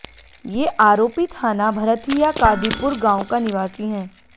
ये आरोपी थाना भरथिया कादीपुर गांव का निवासी हैं